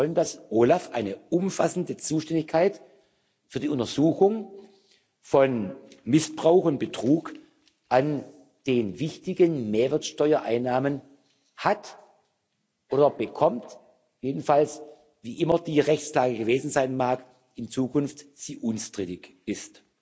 Wir wollen, dass OLAF eine umfassende Zuständigkeit für die Untersuchung von Missbrauch und Betrug an den wichtigen Mehrwertsteuereinnahmen hat oder bekommt, jedenfalls, wie immer die Rechtslage gewesen sein mag, dass sie in Zukunft unstrittig ist.